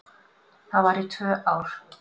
Það var í tvö ár.